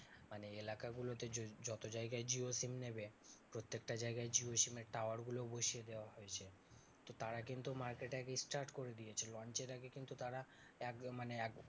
মানে এলাকাগুলোতে যদি যত জায়গায় জিও SIM নেবে প্রত্যেকটা জায়গায় জিও SIM এর tower গুলো বসিয়ে দেওয়া হয়েছে। তো তারা কিন্তু market এ আগে start করে দিয়েছিলো। launch এর আগে কিন্তু তারা এক মানে এক